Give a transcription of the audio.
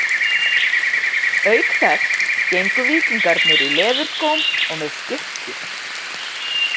Auk þess gengu víkingarnir í leðurskóm og með skikkju.